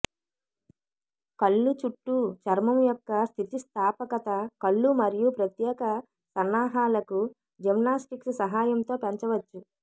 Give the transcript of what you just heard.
కళ్ళు చుట్టూ చర్మం యొక్క స్థితిస్థాపకత కళ్ళు మరియు ప్రత్యేక సన్నాహాలకు జిమ్నాస్టిక్స్ సహాయంతో పెంచవచ్చు